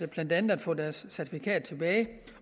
blandt andet at få deres certifikat tilbage